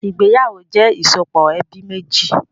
Ìgbéyàwó jẹ ìsopọ̀ ẹbí méjì